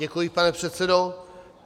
Děkuji, pane předsedo.